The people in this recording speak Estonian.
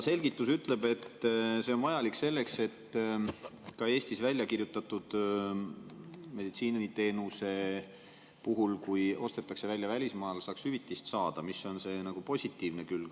Selgitus ütleb, et see on vajalik selleks, et ka Eestis väljakirjutatud meditsiiniteenuse eest, kui see ostetakse välja välismaal, saaks hüvitist, mis on selle positiivne külg.